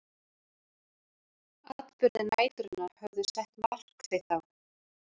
Atburðir næturinnar höfðu sett mark sitt á